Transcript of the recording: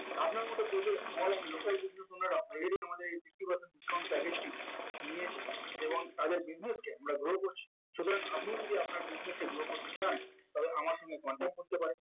আপনার মত project small and local business উনারা already আমাদের sixty percent discount package টি নিয়েছে এবং তাদের business টি আমরা grow করছি সুতরাং আপনি যদি আপনার business কে grow করতে চান তবে আমার সঙ্গে contact করতে পারেন